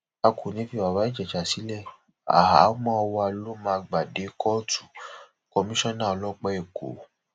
a kò ní í fi bàbá ìjèṣà sílẹ àhámọ wa ló máa gbà dé kóòtù kọmíṣánná ọlọpàá ẹkọ